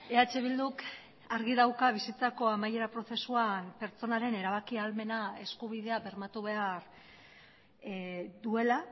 eh bilduk argi dauka bizitzako amaiera prozesuan pertsonaren erabaki ahalmena eskubidea bermatu behar duela